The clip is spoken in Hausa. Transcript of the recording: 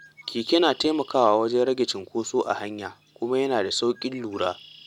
Keke na taimakawa wajen rage cunkoso a hanya, kuma yana da sauƙin lura.